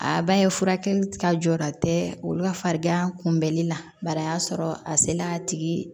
A b'a ye furakɛli ka jɔra tɛ olu ka farigan kunbɛnli la bari a y'a sɔrɔ a sela a tigi